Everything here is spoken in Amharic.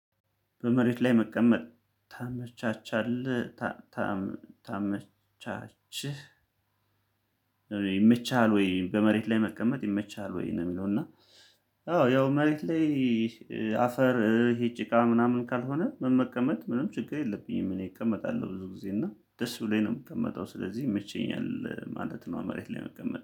በመሬት ላይ መቀመጥ ታመቻቻለህ ታመቻችህ ይመችሃል ወይ በመሬት ላይ መቀመጥ ይመቻል ወይ ነው የሚለው? እና አዎ ያው መሬት ላይ አፈር ይሄ ጭቃ ምናምን ካልሆነ ምን መቀመጥ ምንም ችግር የለብኝም እኔ እቀመጣለሁ ብዙ ጊዜ እና ደስ ብሎኝ ነው የምቀመጠው ስለዚህ ይመቸኛል ማለት ነው። መሬት ላይ መቀመጥ